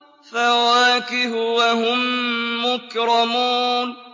فَوَاكِهُ ۖ وَهُم مُّكْرَمُونَ